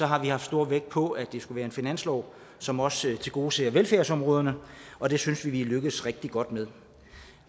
har lagt stor vægt på at det skulle være en finanslov som også tilgodeser velfærdsområderne og det synes vi at vi er lykkedes rigtig godt med